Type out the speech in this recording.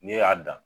Ne y'a dan